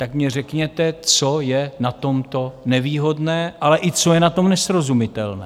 Tak mně řekněte, co je na tomto nevýhodné, ale i co je na tom nesrozumitelné?